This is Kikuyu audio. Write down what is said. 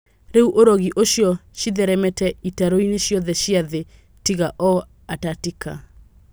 Rĩu ũrogi ũcio citheremete itaroinĩ ciothe cia thĩ tiga o Atatika.